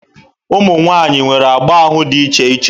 Ụmụ nwaanyị nwere agba ahụ dị iche iche.